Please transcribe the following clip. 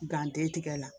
tigɛ la